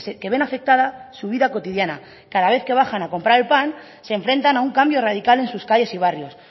que ven afectada su vida cotidiana cada vez que bajan a comprar el pan se enfrentan a un cambio radical en sus calles y barrios